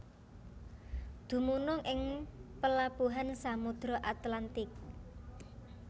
Dumunung ing pelabuhan Samudra Atlantik